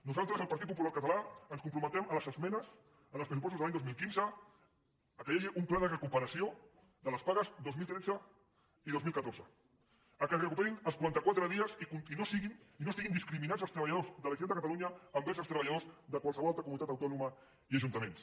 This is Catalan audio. nosaltres al partit popular català ens comprometem a les esmenes en els pressupostos de l’any dos mil quinze que hi hagi un pla de recuperació de les pagues dos mil tretze i dos mil catorze que es recuperin els quaranta·quatre dies i no estiguin discriminats els treballadors de la generalitat de ca·talunya envers els treballadors de qualsevol altra co·munitat autònoma i ajuntaments